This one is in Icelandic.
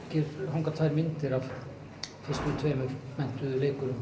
hanga tvær myndir af fyrstu tveimur menntuðu leikurum